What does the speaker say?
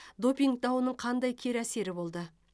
допинг дауының қандай кері әсері болды